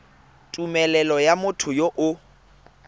tumelelo ya motho yo o